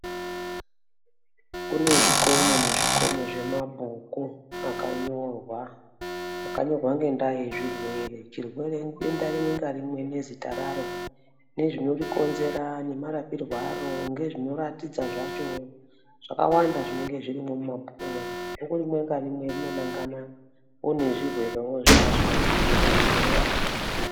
Kune zvikomo nezvikomo zvemabhuku akanyorwa. Akanyorwa ngendaa yezvirwere. Chirwere, denda rimwe ngarimwe nezita raro, nezvinorikonzera nemarapirwe aro ngezvinoratidza zvacho. Zvakawanda zvinenge zvirimwo mumabhukumwo. Bhuku rimwe ngarimwe rinonangana nezvirwerewo zvazvo kana kuti nemarapirwe acho.